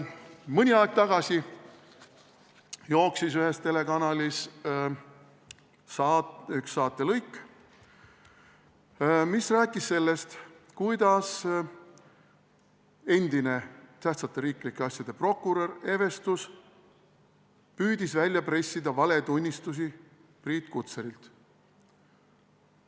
Mõni aeg tagasi nägin ühes telekanalis saatelõiku, kus räägiti sellest, kuidas endine tähtsate riiklike asjade prokurör Evestus püüdis välja pressida valetunnistust Priit Kutserilt.